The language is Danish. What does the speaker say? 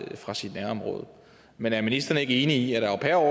fra sit nærområde men er ministeren ikke enig i at au pair